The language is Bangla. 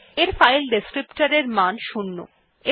এর ফাইল ডেসক্রিপ্টর মান 0